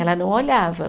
Ela não olhava.